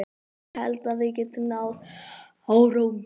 Ég held að við getum náð árangri.